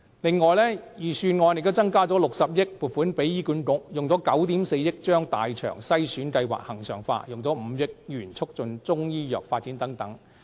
此外，預算案增加了60億元撥款予醫院管理局，以9億 4,000 萬元把大腸癌篩查先導計劃恆常化、以5億元促進中醫藥發展等。